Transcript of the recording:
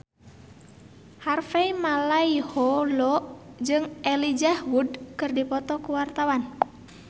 Harvey Malaiholo jeung Elijah Wood keur dipoto ku wartawan